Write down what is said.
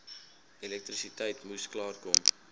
elektrisiteit moes klaarkom